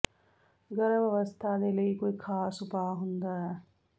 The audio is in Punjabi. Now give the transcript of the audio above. ਗਰਭ ਅਵਸਥਾ ਦੇ ਲਈ ਕੋਈ ਖਾਸ ਉਪਾਅ ਹੁੰਦਾ ਹੈ